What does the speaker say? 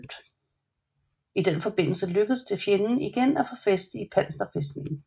I den forbindelse lykkedes det fjenden igen at få fæste i panserfæstningen